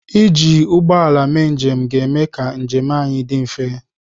Iji ụgbọ ala mee njem ga-eme ka njem anyị dị mfe.